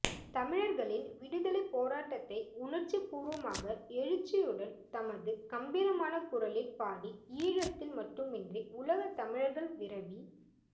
தமிழர்களின் விடுதலைப் போராட்டத்தை உணர்ச்சிபூர்வமாக எழுச்சியுடன் தமது கம்பீரமான குரலில் பாடி ஈழத்தில் மட்டுமன்றி உலகில் தமிழர்கள் விரவி